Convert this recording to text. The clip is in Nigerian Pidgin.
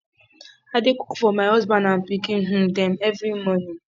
i dey cook for my husband and pikin um dem every morning